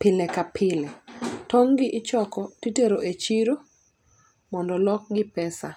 pile ka pile. Tong' gi ichoko titero e chiro mondo olokgi pesa.